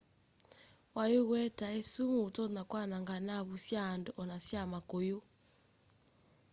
waiyũ ũetae sumu ũtonya kwananga naavu sya andũ ona sya makũyũ